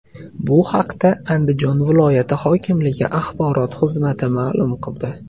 Bu haqda Andijon viloyati hokimligi axborot xizmati maʼlum qildi .